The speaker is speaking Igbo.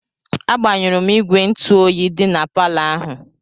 Agbanyụrụ m igwe ntụ oyi dị na palọ ahụ.